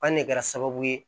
An ne kɛra sababu ye